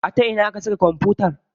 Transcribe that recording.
A ta ina aka saka kwamfutar?